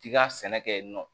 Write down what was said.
K'i ka sɛnɛ kɛ yen nɔ